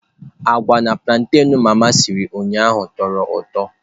Agwa na plantain mama siri ụnyaahụ tọrọ ụtọ.